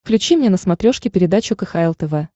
включи мне на смотрешке передачу кхл тв